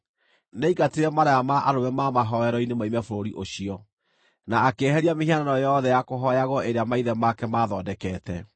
Nĩaingatire maraya ma arũme ma mahooero-inĩ moime bũrũri ũcio, na akĩeheria mĩhianano yothe ya kũhooyagwo ĩrĩa maithe make maathondekete.